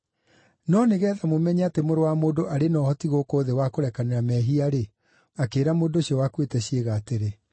No nĩgeetha mũmenye atĩ Mũrũ wa Mũndũ arĩ na ũhoti gũkũ thĩ wa kũrekanĩra mehia-rĩ ….” Akĩĩra mũndũ ũcio wakuĩte ciĩga atĩrĩ,